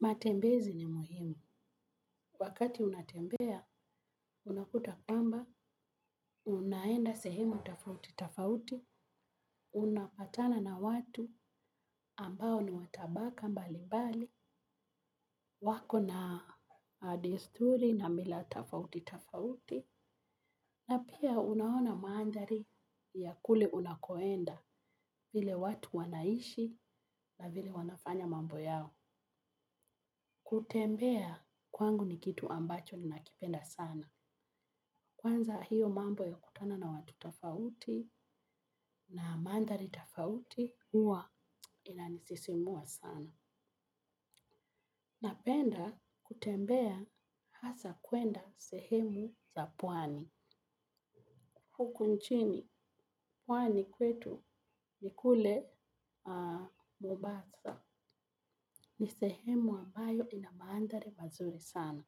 Matembezi ni muhimu, wakati unatembea, unakuta kwamba, unaenda sehemu tofauti, tofauti, unapatana na watu ambao ni watabaka mbali mbali, wako na desturi na mila tofauti, tofauti, na pia unaona mandhari ya kule unakoenda hile watu wanaishi na vile wanafanya mambo yao. Kutembea kwangu ni kitu ambacho ni nakipenda sana. Kwanza hiyo mambo ya kukutana na watu tofauti na mandhari tofauti huwa inanisisimua sana. Napenda kutembea hasa kwenda sehemu za pwani huku nchini pwani kwetu ni kule mombasa. Ni sehemu ambayo ina mandhari mazuri sana.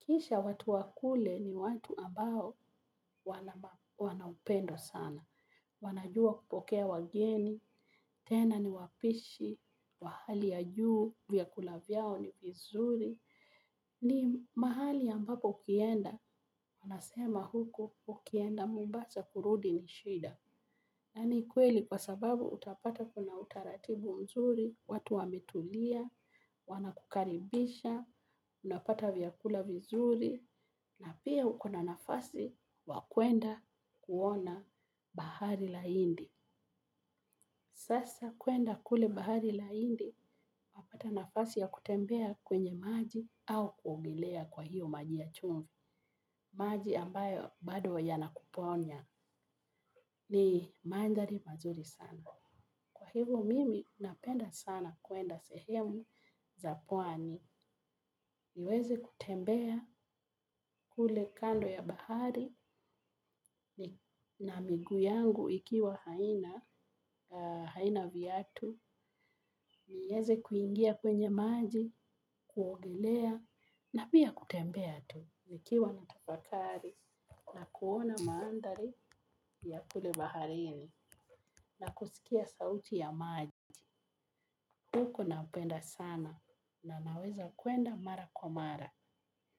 Kisha watu wa kule ni watu ambao wana upendo sana. Wanajua kupokea wageni, tena ni wapishi, wa hali ya juu, vyakula vyao ni vizuri. Ni mahali ambapo ukienda, unasema huko ukienda mombasa kurudi ni shida. Nani kweli kwa sababu utapata kuna utaratibu mzuri, watu wametulia, wanakukaribisha, unapata vyakula vizuri, na pia uko na nafasi ya kwenda kuona bahari la indi. Sasa kuenda kule bahari la hindi, wapata nafasi ya kutembea kwenye maji au kuogelea kwa hiyo maji ya chumvi. Maji ambayo bado yanakuponya ni mandhari mazuri sana. Kwa hivyo mimi napenda sana kuenda sehemu za pwani. Niweze kutembea kule kando ya bahari na miguu yangu ikiwa haina viatu. Niweze kuingia kwenye maji, kuogelea na pia kutembea tu. Nikiwa natafakari na kuona maandhari ya kule baharini na kusikia sauti ya maji. Huko napenda sana na naweza kwenda mara kwa mara.